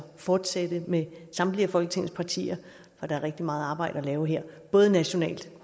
fortsætte med samtlige af folketingets partier for der er rigtig meget arbejde at lave her både nationalt